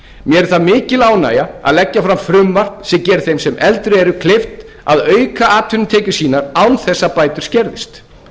mér er það mikil ánægja að leggja fram frumvarp sem gerir þeim sem eldri eru kleift að auka atvinnutekjur sínar án þess að bætur skerðist